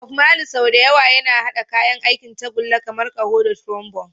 Bob Marley, sau da yawa yana haɗa kayan aikin tagulla kamar ƙaho da trombone.